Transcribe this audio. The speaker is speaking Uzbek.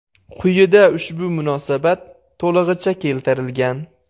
Quyida ushbu munosabat to‘lig‘icha keltirilgan.